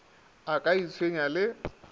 a ka a itshwenya le